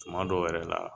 Tuma dɔw yɛrɛ la